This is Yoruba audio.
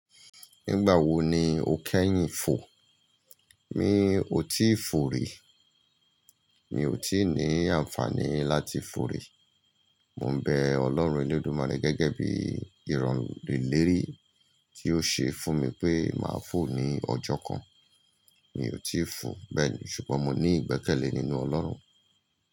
Nígbà wo ni o kẹ́yìn fò? Mi ò tí fò rí, mi ò tí ní àǹfààní láti fò rí. Mo n bẹ Ọlọ́run Elédùmarè gẹ́gẹ́ bí ìràn- ilérí tí ó ṣe fún mi pé màá fò ní ọjọ́ kan. Mi ò tí fò bẹ́ẹ̀ni, ṣùgbọ́n mo ní ìgbẹ́kẹ̀lé nínú Ọlọ́run.